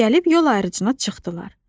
Gəlib yol ayrıcına çıxdılar.